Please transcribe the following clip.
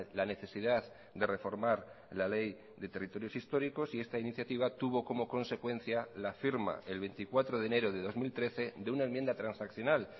la necesidad de reformar la ley de territorios históricos y esta iniciativa tuvo como consecuencia la firma el veinticuatro de enero de dos mil trece de una enmienda transaccional